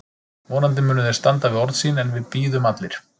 Vonandi munu þeir standa við orð sín en við bíðum allir.